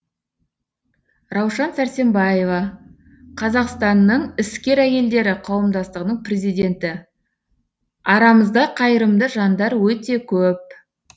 раушан сәрсембаева қазақстанның іскер әйелдері қауымдастығының президенті арамызда қайырымды жандар өте көп